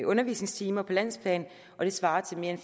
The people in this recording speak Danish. undervisningstimer på landsplan og det svarer til mere end